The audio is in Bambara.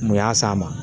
Mun y'a s'a ma